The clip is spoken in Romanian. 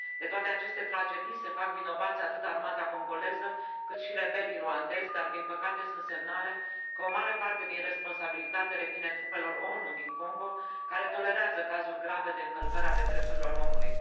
De toate aceste tragedii se fac vinovați atât armata congoleză, cât și rebelii rwandezi, dar, din păcate, sunt semnale că o mare parte din responsabilitate revine trupelor ONU din Congo, care tolerează cazuri grave de încălcări ale drepturilor omului.